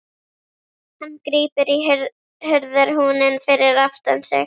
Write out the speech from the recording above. Hann grípur í hurðarhúninn fyrir aftan sig.